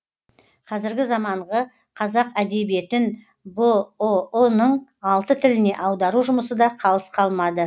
қазіргі заманғы қазақ әдебиетін бұұ ның алты тіліне аудару жұмысы да қалыс қалмады